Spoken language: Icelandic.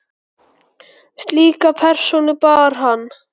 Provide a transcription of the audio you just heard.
Slíka persónu bar hann.